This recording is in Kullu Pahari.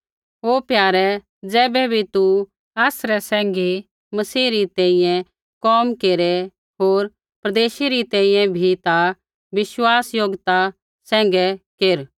ओ प्यारे ज़ैबै भी तू आसरै सैंघी मसीह री तैंईंयैं कोम केरै होर परदेशी री तैंईंयैं भी ता विश्वासयोग्यता सैंघै केरा